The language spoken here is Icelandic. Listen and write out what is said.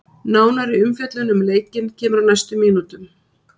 Nánari umfjöllun um leikinn kemur á næstu mínútum.